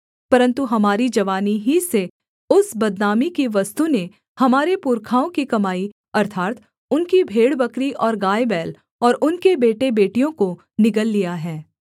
परन्तु हमारी जवानी ही से उस बदनामी की वस्तु ने हमारे पुरखाओं की कमाई अर्थात् उनकी भेड़बकरी और गायबैल और उनके बेटेबेटियों को निगल लिया है